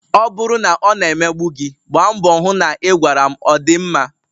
Ọ bụrụ na ọ na-emegbu gi, gbaa mbọ na ị gwara m ọ dị mma?